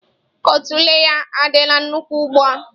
Otule ya adịla nnukwu ugbu a.